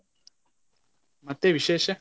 ಮತ್ತೆ ವಿಶೇಷ?